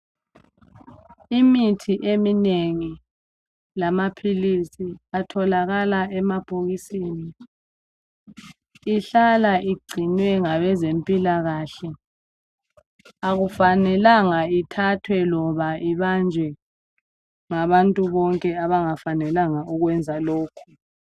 Imithi eminengi lamaphilisi atholakala emabhokisini. Ihlala igcinwe ngabezempilakahle. Kakufanelanga ithathwe loba ibanjwe ngabantu bonke, abangafanelanga ukwenza lokho.